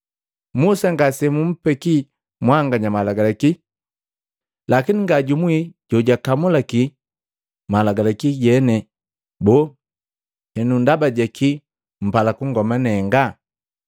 Musa ngasejumpeki mwanganya Malagalaki? Lakini ngajumuwi jojukamulaki malagalaki jene. Boo, henu ndaba jakii mpala kungoma nenga?”